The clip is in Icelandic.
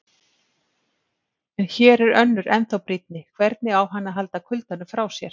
En hér er önnur ennþá brýnni: hvernig á hann að halda kuldanum frá sér?